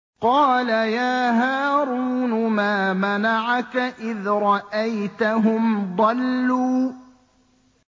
قَالَ يَا هَارُونُ مَا مَنَعَكَ إِذْ رَأَيْتَهُمْ ضَلُّوا